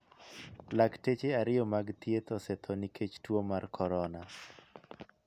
Lakteche ariyo mag thieth osetho nikech tuo mar corona.